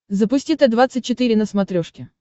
запусти т двадцать четыре на смотрешке